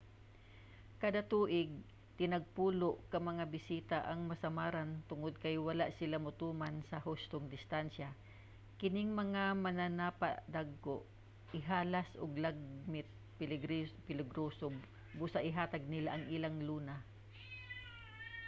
kada tuig tinagpulo ka mga bisita ang masamaran tungod kay wala sila motuman sa hustong distansya. kining mga mananapa dagko ihalas ug lagmit peligroso busa ihatag nila ang ilang luna